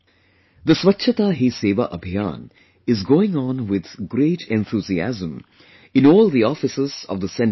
The 'Swachhta Hi SevaAbhiyaan' is going on with great enthusiasm in all the offices of the Central Government